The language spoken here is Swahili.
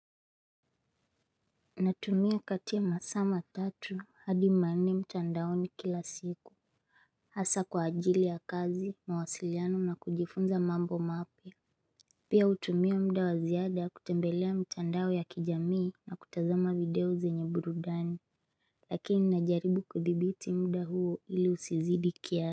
Natumia kati ya masaa matatu hadi manne mtandaoni kila siku Hasa kwa ajili ya kazi mawasiliano na kujifunza mambo mapya Pia hutumia muda wa ziada kutembelea mtandao ya kijamii na kutazama video zenye burudani Lakini ninajaribu kudhibiti muda huo ili usizidi kiasi.